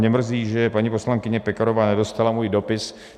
Mě mrzí, že paní poslankyně Pekarová nedostala můj dopis.